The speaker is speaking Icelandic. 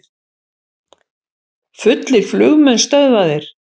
Fullir flugmenn stöðvaðir